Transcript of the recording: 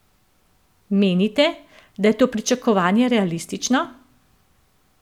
Menite, da je to pričakovanje realistično?